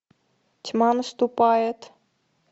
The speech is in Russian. тьма наступает